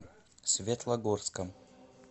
светлогорском